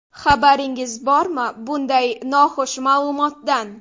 Xabaringiz bormi, bunday noxush ma’lumotdan?